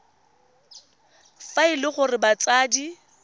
fa e le gore batsadi